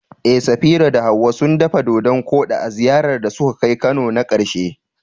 Eh, Safira da Hawwa sun dafa dodan-koɗi a ziyarar da suka kai Kano na karshe.